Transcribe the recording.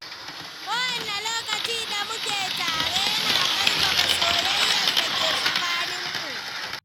Kowanne lokaci da muke tare yana ƙarfafa soyayyar da ke tsakaninmu.